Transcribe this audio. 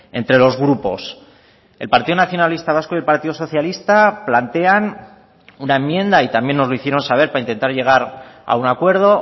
entre los grupos el partido nacionalista vasco y el partido socialista plantean una enmienda y también nos lo hicieron saber para intentar llegar a un acuerdo